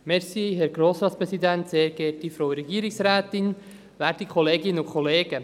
Ich gebe das Wort an dem Motionär, Grossrat Gnägi.